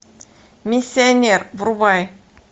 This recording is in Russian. миссионер врубай